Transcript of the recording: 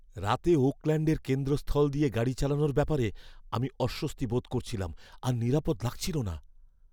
রাতে ওকল্যাণ্ডের কেন্দ্রস্থল দিয়ে গাড়ি চালানোর ব্যাপারে আমি অস্বস্তি বোধ করছিলাম আর নিরাপদ লাগছিল না।